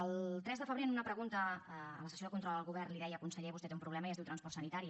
el tres de febrer en una pregunta a la sessió de control al govern li deia conseller vostè té un problema i es diu transport sanitari